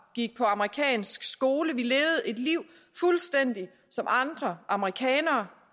gik på amerikansk skole vi levede et liv fuldstændig som andre amerikanere